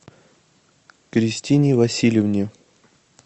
кристине васильевне